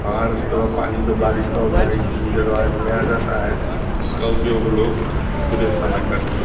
पहाड़ से थोड़ा पानी जो बारिश का होता है इस रिजर्वायर में आ जाता है जिसका उपयोग लोग पूरे समय करते हैं।